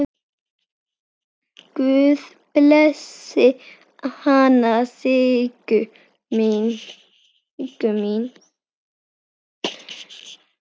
Guð blessi hana Siggu mína.